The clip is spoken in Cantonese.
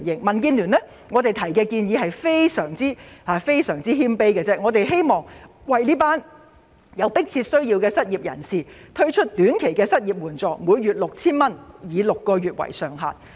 民建聯提出的建議非常謙卑，我們只是希望政府能為有迫切需要的失業人士推出短期失業援助金，每月 6,000 元，以6個月為限。